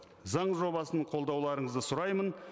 заң жобасын қолдауларыңызды сұраймын